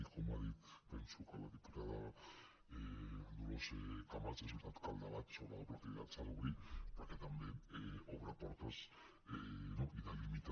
i com ha dit penso que la diputada dolors camats és veritat que el debat sobre la compatibilitat s’ha d’obrir perquè també obre portes i delimita